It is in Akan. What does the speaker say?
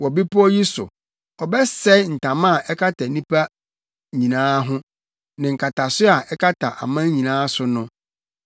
Wɔ bepɔw yi so, ɔbɛsɛe ntama a ɛkata nnipa nyinaa ho ne nkataso a ɛkata aman nyinaa so no;